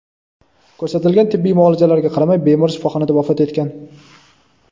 Ko‘rsatilgan tibbiy muolajalarga qaramay bemor shifoxonada vafot etgan.